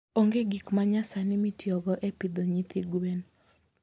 Onge gik manyasani mitiyogo e pidho nyithi gwen.